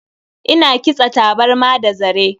Ina kitsa tabarma da zare.